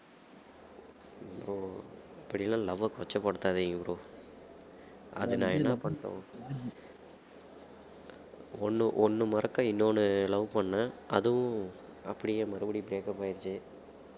bro இப்படி எல்லாம் love ஐ கொச்சை படுத்தாதீங்க bro அது நான் என்ன பண்ணட்டும் ஒண்ணு ஒண்ணு மறக்க இன்னொன்னு love பண்ணேன் அதுவும் அப்படியே மறுபடியும் breakup ஆயிருச்சு